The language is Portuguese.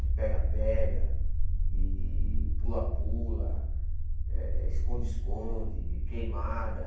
de pega-pega, e pula-pula, eh esconde-esconde, queimada.